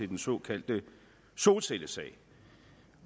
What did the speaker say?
den såkaldte solcellesag